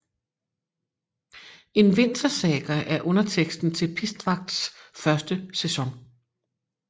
En Vintersaga er underteksten til Pistvakts første sæson